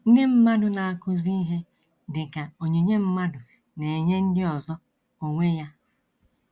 Ndị mmadụ na - akụzi ihe, dị ka onyinye mmadụ na - enye ndị ọzọ onwe ya.